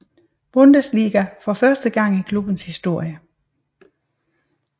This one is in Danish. Bundesliga for første gang i klubbens historie